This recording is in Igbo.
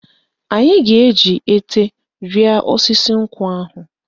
Anyị ga-eji ete rịa osisi nkwụ ahụ.